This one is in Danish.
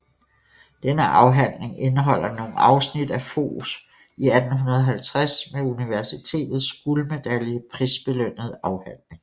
Denne afhandling indeholder nogle afsnit af Foghs i 1850 med universitetets guldmedalje prisbelønnede afhandling